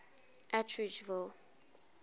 atteridgeville